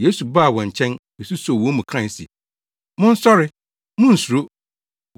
Yesu baa wɔn nkyɛn, besusoo wɔn mu kae se, “Monsɔre! Munnsuro!”